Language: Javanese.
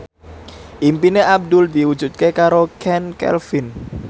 impine Abdul diwujudke karo Chand Kelvin